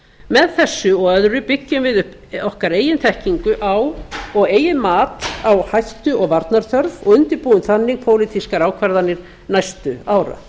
með þessu og öðrum byggjum við upp okkar eigin þekkingu á og eigin mat á hættu og varnarþörf og undirbúum þannig pólitískar ákvarðanir næstu ára